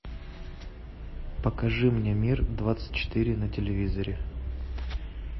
покажи мне мир двадцать четыре на телевизоре